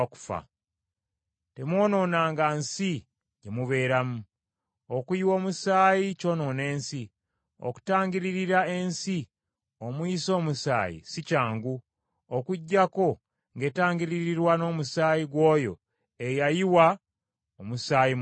“ ‘Temwonoonanga nsi gye mubeeramu. Okuyiwa omusaayi kyonoona ensi; okutangiririra ensi omuyiise omusaayi si kyangu, okuggyako ng’etangiririrwa n’omusaayi gw’oyo eyayiwa omusaayi mu nsi omwo.